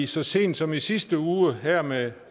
så sent som i sidste uge her med